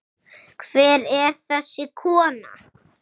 Hver er þessi kona?